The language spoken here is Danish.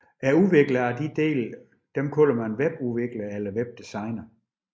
Udviklerne af disse dele kaldes webudviklere eller webdesignere